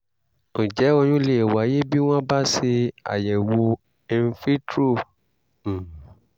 ǹjẹ́ oyún lè wáyé bí wọ́n bá ṣeàyẹ̀wò in vitro? um